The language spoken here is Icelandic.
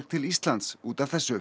til Íslands út af þessu